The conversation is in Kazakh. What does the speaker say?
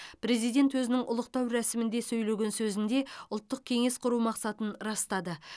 президент өзінің ұлықтау рәсімінде сөйлеген сөзінде ұлттық кеңес құру мақсатын растады